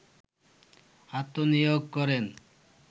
আত্মনিয়োগ করেন